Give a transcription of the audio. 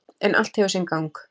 En allt hefur sinn gang.